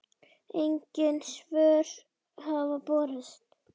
Engin svör hafa borist.